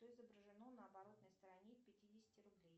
что изображено на оборотной стороне пятидесяти рублей